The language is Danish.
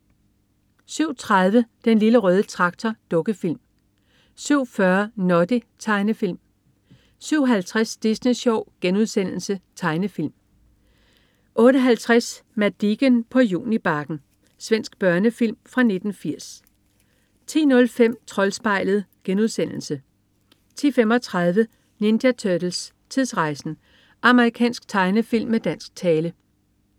07.30 Den Lille Røde Traktor. Dukkefilm 07.40 Noddy. Tegnefilm 07.50 Disney Sjov.* Tegnefilm 08.50 Madicken på Junibakken. Svensk børnefilm fra 1980 10.05 Troldspejlet* 10.35 Ninja Turtles: Tidsrejsen! Amerikansk tegnefilm med dansk tale